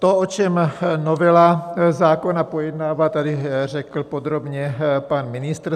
To, o čem novela zákona pojednává, tady řekl podrobně pan ministr.